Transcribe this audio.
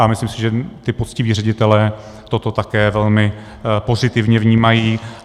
A myslím si, že ti poctiví ředitelé toto také velmi pozitivně vnímají.